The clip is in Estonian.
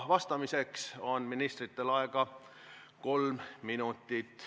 Vastamiseks on ministritel aega kolm minutit.